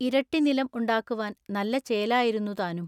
ഇരട്ടിനിലം ഉണ്ടാക്കുവാൻ നല്ല ചേലായിരുന്നു താനും.